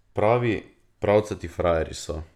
Pravi, pravcati frajerji so.